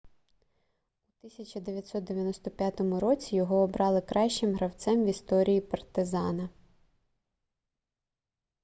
у 1995 році його обрали кращим гравцем в історії партизана